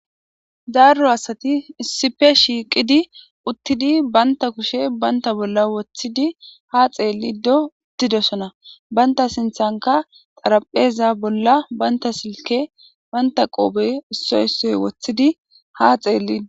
Daro asati issippa shiiqidi utidi banta kushshe banta bola wotidi ha xetido didosona banta sintanka xarapheza bola banta silke banta qobe issoy issoy wotid ha xetidi